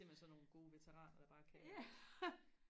I er simpelthen bare sådan nogle gode veteraner der bare kan